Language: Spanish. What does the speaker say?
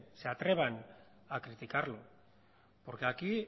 se atrevan a criticarlo porque aquí